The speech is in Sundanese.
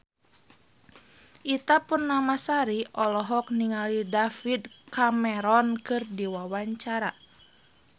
Ita Purnamasari olohok ningali David Cameron keur diwawancara